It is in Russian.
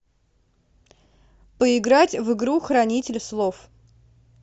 поиграть в игру хранитель слов